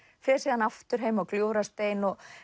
fer síðan aftur heim á Gljúfrastein